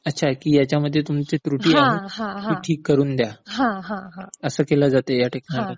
अच्छा तर ह्यांच्यामध्ये तुमची त्रुटी आहे ती ठीक करून द्या असं केलं जातं ह्याठिकाणी?